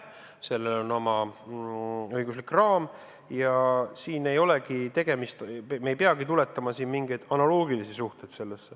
Sellel on oma õiguslik raam ja me ei peagi tuletama siin mingeid analoogilisi suhteid.